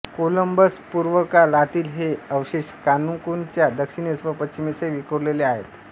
कोलंबसपूर्वकालातील हे अवशेष कान्कुनच्या दक्षिणेस व पश्चिमेसही विखुरलेले आहेत